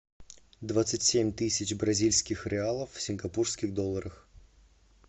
двадцать семь тысяч бразильских реалов в сингапурских долларах